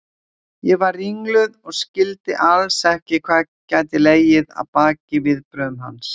Ég var ringluð og skildi alls ekki hvað gæti legið að baki viðbrögðum hans.